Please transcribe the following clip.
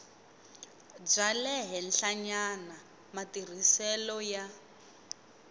bya le henhlanyana matirhiselo ya